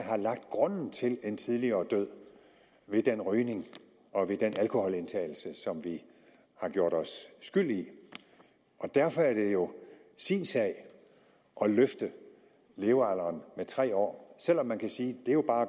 lagt grunden til en tidligere død ved den rygning og den alkoholindtagelse som vi har gjort os skyldige i og derfor er det jo sin sag at løfte levealderen med tre år selv om man kan sige at det jo bare